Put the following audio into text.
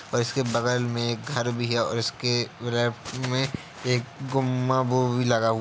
और इसके बगल मे एक घर भी है और इसके लेफ्ट मे एक गुंबद वो भी लगा हुआ --